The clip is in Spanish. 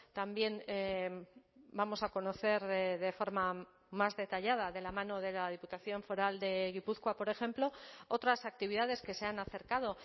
también vamos a conocer de forma más detallada de la mano de la diputación foral de gipuzkoa por ejemplo otras actividades que se han acercado